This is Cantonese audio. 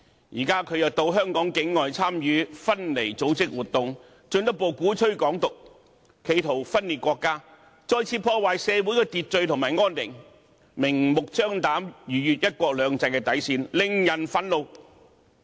現在，他又到香港境外參與分離組織活動，進一步鼓吹"港獨"，企圖分裂國家，再次破壞社會秩序和安寧，明目張膽，逾越"一國兩制"的底線，令人憤怒。